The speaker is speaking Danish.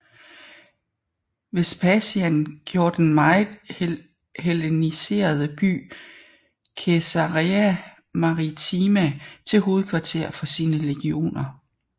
Vespasian gjorde den meget helleniserede by Caesarea Maritima til hovedkvarter for sine legioner